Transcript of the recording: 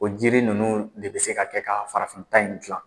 O jiri ninnu de bɛ se ka kɛ ka farafin ta in gilan.